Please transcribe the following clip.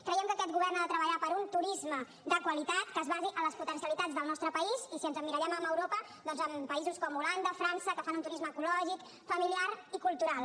creiem que aquest govern ha de treballar per un turisme de qualitat que es basi en les potencialitats del nostre país i si ens emmirallem en europa doncs en països com holanda frança que fan un turisme ecològic familiar i cultural